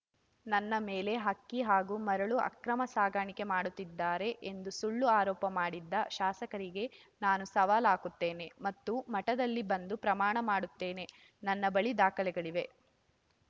ನನ್ನ ಮೇಲೆ ಅಕ್ಕಿ ಹಾಗೂ ಮರಳು ಅಕ್ರಮ ಸಾಗಾಣಿಕೆ ಮಾಡುತ್ತಿದ್ದಾರೆ ಎಂದು ಸುಳ್ಳು ಆರೋಪ ಮಾಡಿದ್ದ ಶಾಸಕರಿಗೆ ನಾನು ಸವಾಲ್‌ ಹಾಕುತ್ತೇನೆ ಮತ್ತು ಮಠದಲ್ಲಿ ಬಂದು ಪ್ರಮಾಣ ಮಾಡುತ್ತೇನೆ ನನ್ನ ಬಳಿ ದಾಖಲೆಗಳಿವೆ